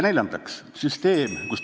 Neljandaks, süsteem, kus ...